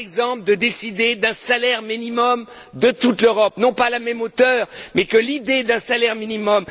Par exemple, de décider d'un salaire minimum pour toute l'Europe, non pas à la même hauteur, mais de lancer l'idée d'un salaire minimum.